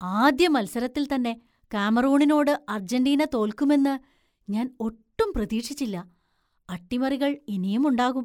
ആദ്യ മത്സരത്തിൽത്തന്നെ കാമറൂണിനോട് അർജന്റീന തോൽക്കുമെന്ന് ഞാന്‍ ഒട്ടും പ്രതീക്ഷിച്ചില്ല. അട്ടിമറികള്‍ ഇനിയും ഉണ്ടാകും.